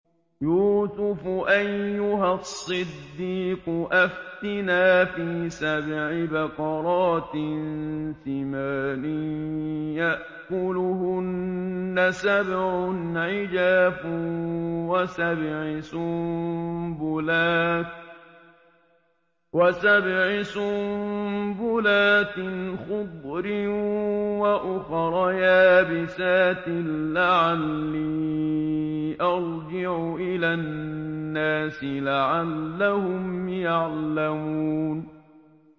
يُوسُفُ أَيُّهَا الصِّدِّيقُ أَفْتِنَا فِي سَبْعِ بَقَرَاتٍ سِمَانٍ يَأْكُلُهُنَّ سَبْعٌ عِجَافٌ وَسَبْعِ سُنبُلَاتٍ خُضْرٍ وَأُخَرَ يَابِسَاتٍ لَّعَلِّي أَرْجِعُ إِلَى النَّاسِ لَعَلَّهُمْ يَعْلَمُونَ